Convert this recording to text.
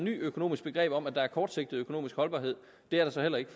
økonomisk begreb om at der er kortsigtet økonomisk holdbarhed det er der så heller ikke